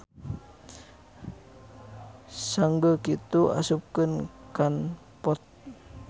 Sanggeu kitu asupkeun kan pot.